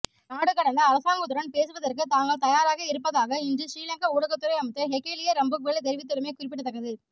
நாடுகடந்த அரசாங்கத்துடன் பேசுவதற்கு தாங்கள் தயாராக இருப்பதாக இன்று சிறீலங்கா ஊடகத்துறை அமைச்சர் ஹெகெலிய ரம்புக்வெல தெரிவித்துள்ளமை குறிப்பிடத்தக்கது